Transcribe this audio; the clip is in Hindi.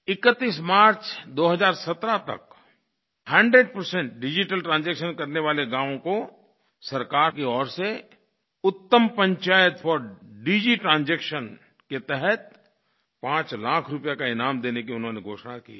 31 मार्च 2017 तक अगर 100 डिजिटल ट्रांजैक्शन करने वाले गाँवों को सरकार की ओर से उत्तम पंचायत फोर डिजिट्रांजैक्शन के तहत 5 लाख रुपये का ईनाम देने की उन्होंने घोषणा की है